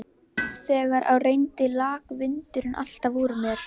Þegar á reyndi lak vindurinn alltaf úr mér.